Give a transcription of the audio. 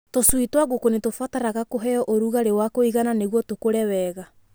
Tũcui twa ngũkũ nĩ tũbataraga kũheo ũrugarĩ wa kũigana nĩguo tũkũre wega.